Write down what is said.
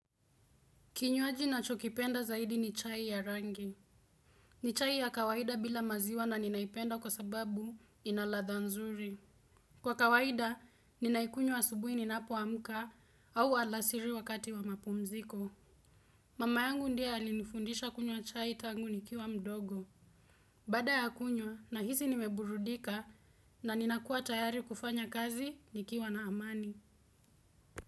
Kinywaji na chokipenda zaidi ni chai ya rangi. Ni chai ya kawaida bila maziwa na ninaipenda kwa sababu inaladha nzuri. Kwa kawaida, ninaikunyowa asubuhi ninapo wamuka au alasiri wakati wa mapumziko. Mama yangu ndie alinifundisha kunywa chai tangu nikiwa mdogo. Bada ya kunywo nahizi nimeburudika na ninakua tayari kufanya kazi nikiwa na amani.